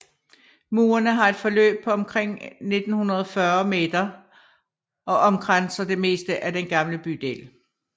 Murene har et forløb på omkring 1940 m og omkranser det meste af den gamle bydel